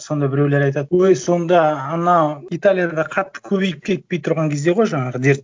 сонда біреулер айтады өй сонда анау италияда да қатты көбейіп кетпей тұрған кезде ғой жаңағы дерт